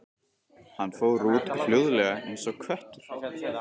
Hann fór út, hljóðlega eins og köttur.